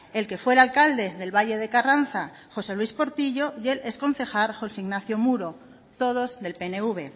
el que fuera alcalde del valle de carranza josé luís portillo y el exconcejal josé ignacio mudo todos del pnv